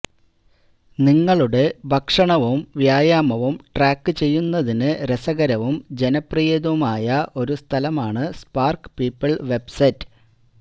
നിങ്ങളുടെ ഭക്ഷണവും വ്യായാമവും ട്രാക്കുചെയ്യുന്നതിന് രസകരവും ജനപ്രിയതുമായ ഒരു സ്ഥലമാണ് സ്പാർക്ക് പീപ്പിൾ വെബ്സൈറ്റ്